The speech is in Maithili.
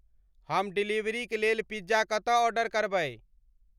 हम डिलीवरीक लेल पिज्जा कतऽ ऑर्डर करबै